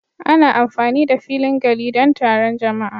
Ana amfani da filin gari don taron jama'a